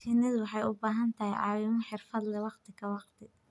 Shinnidu waxay u baahan tahay caawimo xirfad leh waqti ka waqti.